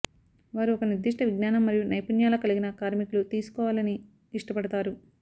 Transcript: వారు ఒక నిర్దిష్ట విజ్ఞానం మరియు నైపుణ్యాల కలిగిన కార్మికులు తీసుకోవాలని ఇష్టపడతారు